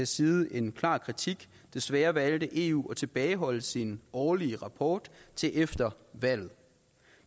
side en klar kritik desværre valgte eu at tilbageholde sin årlige rapport til efter valget